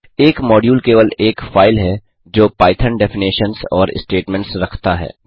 एक मॉड्यूल केवल एक फाइल है जो पाइथन डेफिनेशन्स और स्टेटमेंट्स रखता है